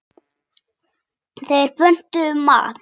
Þeir pöntuðu mat.